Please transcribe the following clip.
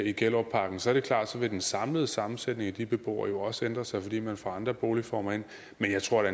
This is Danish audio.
i gellerupparken så er det klart at den samlede sammensætning af de beboere jo også vil ændre sig fordi man får andre boligformer ind men jeg tror da